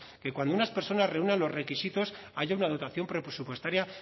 que cuando unas personas reúnan los requisitos haya una dotación presupuestaria